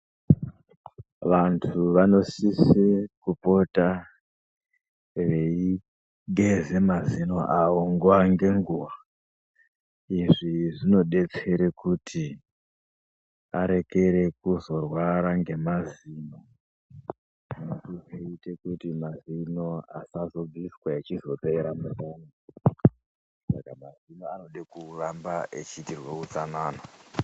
Vanhu vanosise kupota veigeza mazino avo nguwa ngenguwa. Izvi zvinodetsera kuti arekere kuzorwara ngemazino nekuite kuti mazino asazopera mumuromo, saka mazino anoda kuti uite utsanana.